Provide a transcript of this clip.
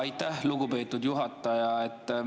Aitäh, lugupeetud juhataja!